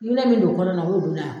I minɛ min don kɔnɔ na o y'o